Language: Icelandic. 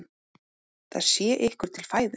Það sé ykkur til fæðu.